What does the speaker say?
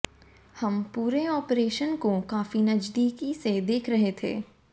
हम पूरे ऑपरेशन को काफी नजदीक से देख रहे थे